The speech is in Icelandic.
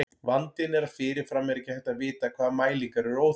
Vandinn er að fyrirfram er ekki hægt að vita hvaða mælingar eru óþarfar.